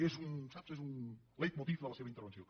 és saps un leitmotiv de la seva intervenció